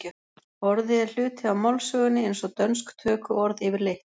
Orðið er hluti af málsögunni eins og dönsk tökuorð yfirleitt.